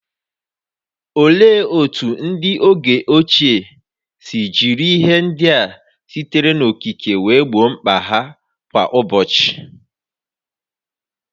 Olee otú ndị oge ochie si jiri ihe ndị a sitere n'okike wee gboo mkpa ha kwa ụbọchị?